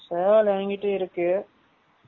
சேவல் என்கிட்டையும் இருக்கு